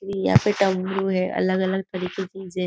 अ यहाँ पे डमरू है अलग अलग तरीके की जे --